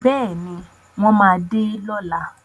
Bẹ́ẹ̀ni, wọ́n máa dé lọ́la.